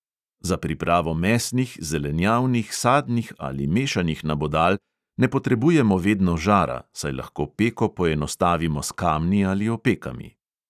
Za pripravo mesnih, zelenjavnih, sadnih ali mešanih nabodal ne potrebujemo vedno žara, saj lahko peko poenostavimo s kamni ali opekami.